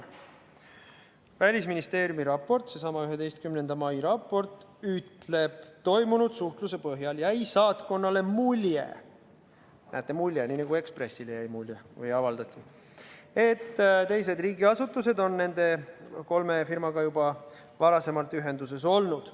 Välisministeeriumi raport, seesama 11. mai raport ütleb: toimunud suhtluse põhjal jäi saatkonnale mulje – näete, mulje, nii nagu Ekspressile jäi mulje –, et teised riigiasutused on nende kolme firmaga juba varasemalt ühenduses olnud.